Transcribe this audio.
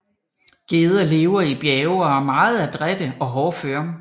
Geder lever i bjerge og er meget adrætte og hårdføre